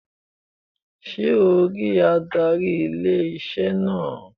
Sé o rí adarí ilé-iṣẹ́ náà?